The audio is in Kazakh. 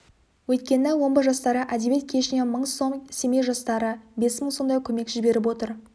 өйткені омбы жастары әдебиет кешінен мың сом семей жастары бес мың сомдай көмек жіберіп отыр